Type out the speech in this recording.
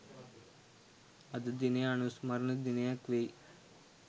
අද දිනය අනුස්මරණ දිනයක් වෙයි.